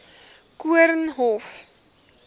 koornhof